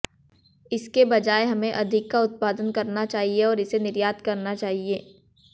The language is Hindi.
इसके बजाय हमें अधिक का उत्पादन करना चाहिए और इसे निर्यात करना चाहिए